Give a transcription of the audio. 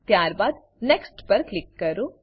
ત્યારબાદ next next પર click કરો